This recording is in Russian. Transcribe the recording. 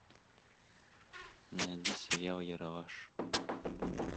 найди сериал ералаш